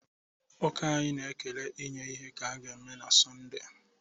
Ụka anyị na-ekele inye ihe ga-eme na Sọnde